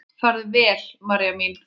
Farðu vel, María mín.